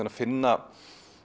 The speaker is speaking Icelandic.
að finna